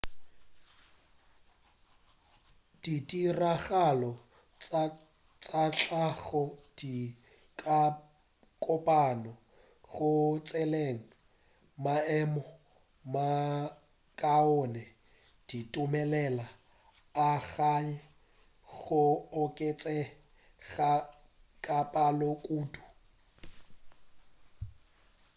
ditiragalo tša tlhago di ka kopana go tšweletša maemo a makaone di dumelela algae go oketšega ka palo kudu